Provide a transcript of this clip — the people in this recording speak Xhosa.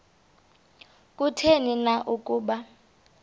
kutheni na ukuba